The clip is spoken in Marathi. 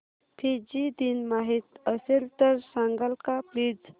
फिजी दिन माहीत असेल तर सांगाल का प्लीज